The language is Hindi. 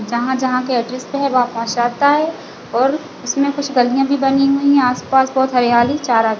जहाँ-जहाँ के एड्रेस पे है वह पहुँचता है और उसमे कुछ गालिया भी बनी हुई है आसपास बहोत हरियाली चारा--